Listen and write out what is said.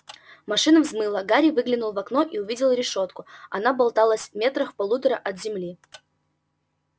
машина взмыла гарри выглянул в окно и увидел решётку она болталась метрах в полутора от земли